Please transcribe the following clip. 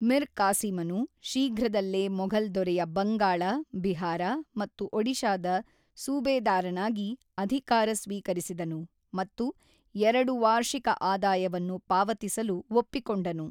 ಮಿರ್ ಕಾಸಿಮನು ಶೀಘ್ರದಲ್ಲೇ ಮೊಘಲ್ ದೊರೆಯ ಬಂಗಾಳ, ಬಿಹಾರ ಮತ್ತು ಒಡಿಶಾದ ಸೂಬೇದಾರನಾಗಿ ಅಧಿಕಾರ ಸ್ವೀಕರಿಸಿದನು ಮತ್ತು ಎರಡು ವಾರ್ಷಿಕ ಆದಾಯವನ್ನು ಪಾವತಿಸಲು ಒಪ್ಪಿಕೊಂಡನು.